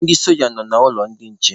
Ndị soja nọ n'ụlọ ndị nche